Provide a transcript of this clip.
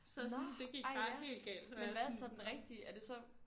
Nåh ej ja men hvad er så den rigtige er det så